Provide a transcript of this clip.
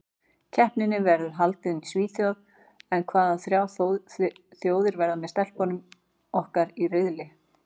Keppnin verður haldin í Svíþjóð en hvaða þrjár þjóðir verða með stelpunum okkar í riðli?